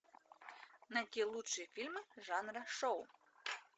найти лучшие фильмы жанра шоу